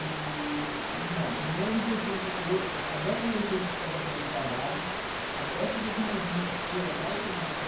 no... Não, no ano de oitenta, a década de oitenta foi a década do trabalho, a década de noventa foi a da automação,